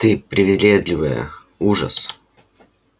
ты привередливая ужас